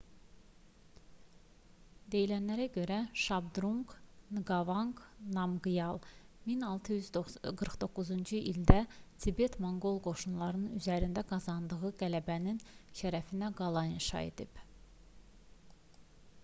deyilənlərə görə şabdrunq nqavanq namqyal 1649-cu ildə tibet-monqol qoşunları üzərində qazandığı qələbənin şərəfinə qala inşa edib